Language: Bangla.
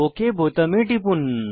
ওক বোতামে টিপুন